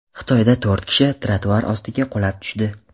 Xitoyda to‘rt kishi trotuar ostiga qulab tushdi.